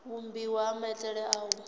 vhumbiwa ha maitele a u